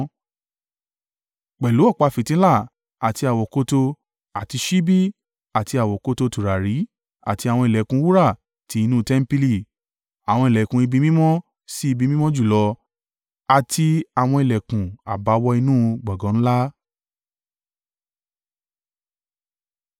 pẹ̀lú ọ̀pá fìtílà, àti àwokòtò àti ṣíbí àti àwokòtò tùràrí àti àwọn ìlẹ̀kùn wúrà ti inú tẹmpili, àwọn ìlẹ̀kùn ibi mímọ́ sí Ibi Mímọ́ Jùlọ àti àwọn ìlẹ̀kùn à bá wọ inú gbọ̀ngàn ńlá.